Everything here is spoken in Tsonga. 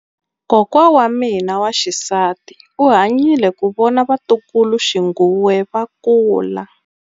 Kokwa wa mina wa xisati u hanyile ku vona vatukuluxinghuwe va kula.